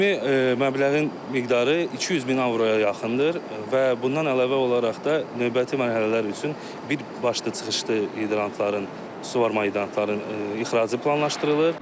Ümumi məbləğin miqdarı 200 min avroya yaxındır və bundan əlavə olaraq da növbəti mərhələlər üçün birbaşlı çıxışlı hidrantların, suvarma hidrantlarının ixracı planlaşdırılır.